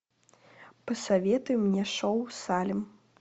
посоветуй мне шоу салем